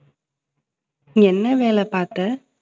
நீ என்ன வேலை பார்த்த